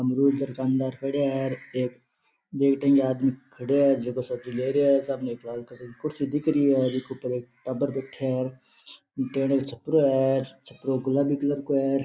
दुकान दर खड़े है ये तीन आदमी खड़े है जे सब्जी ले रहे है जे एको एक लाल की कुर्सी दिख री जीके ऊपर एक टाबर बैठे है टेनिया को छपरो है छपरो गुलाबी कलर को है।